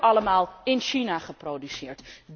Die worden allemaal in China geproduceerd.